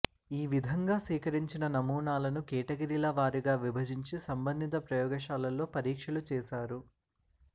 ఈ విధంగా సేకరించిన నమూనాలను కేటగిరిల వారీగా విభజించి సంబంధిత ప్రయోగశాలల్లో పరీక్షలు చేశారు